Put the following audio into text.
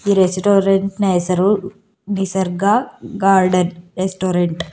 ಈ ರೆಸ್ಟೋರೆಂಟ್ನ ಹೆಸರು ನಿಸರ್ಗ ಗಾರ್ಡನ್ ರೆಸ್ಟೋರೆಂಟ್ .